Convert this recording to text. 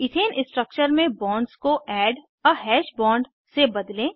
ethane structure में bonds को add a hash bond से बदलें